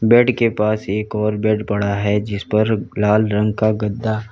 bed के पास एक और बेड पड़ा है जिस पर लाल रंग का गद्दा--